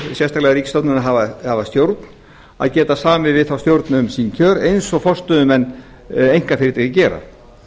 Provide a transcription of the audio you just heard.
sérstaklega ríkisstofnana sem hafa stjórn að geta samið við þá stjórn um sín kjör eins og forstöðumenn einkafyrirtækja gera